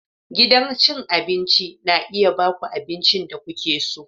Gidan cin abinci na iya ba ku abincin da kuke so.